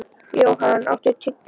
Johan, áttu tyggjó?